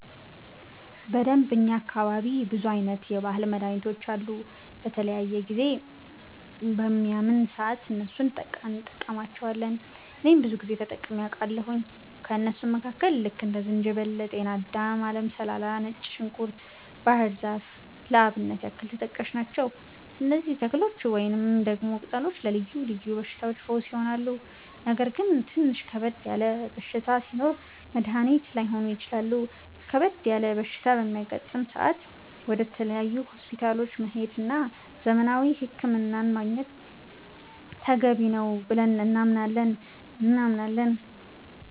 በደንብ፣ እኛ አካባቢ ብዙ አይነት የባህል መድሀኒቶች አሉ። በተለያየ ጊዜ በሚያመን ሰአት እነሱን እንቀማለቸዋለን እኔም ብዙ ጊዜ ተጠቅሜ አቃለሁኝ። ከእነሱም መካከል ልክ እንደ ዝንጅበል፣ ጤናዳም፣ አለም ሰላላ፣ ነጭ ዝንኩርት፣ ባህር ዛፍ ለአብነት ያክል ተጠቃሽ ናቸው። እነዚህ ተክሎች ወይንም ደግሞ ቅጠሎች ለልዮ ልዮ በሽታዎች ፈውስ ይሆናሉ። ነገር ግን ትንሽ ከበድ ያለ በሽታ ሲኖር መድኒት ላይሆኑ ይችላሉ ከበድ ያለ በሽታ በሚያጋጥም ሰአት ወደ ተለያዩ ሆስፒታሎች መሄድ እና ዘመናዊ ህክምና ማግኘት ተገቢ ነው ብለን እናምናለን።